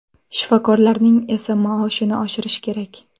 Shifokorlarning esa maoshini oshirish kerak”.